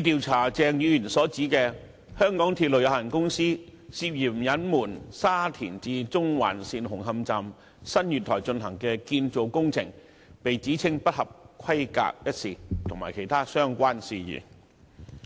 調查鄭議員所指香港鐵路有限公司涉嫌隱瞞沙田至中環線紅磡站新月台進行的建造工程被指稱不合規格一事，以及其他相關事宜。